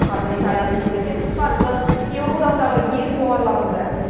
қазір италияның мемлекеттік қарызы еуроодақтағы ең жоғарылардың бірі